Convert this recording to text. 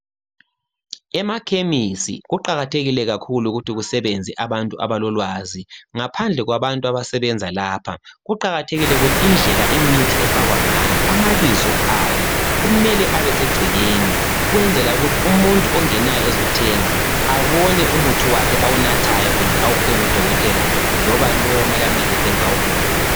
Emakhemisi kuqakathekile kakhulu ukuthi kusebenze abantu abalolwazi. Ngaphandle kwabantu abasebenza lapha kuqakathekile ukuthi indlela imithi efakwa ngayo, amabizo ayo kumele abesegcekeni ukwenzela ukuthi umuntu ongenayo ezothenga abone umuthi wakhe owunathayo kumbe awuphiwe ngodokotela loba lowu okumele amnikeze engakawuboni.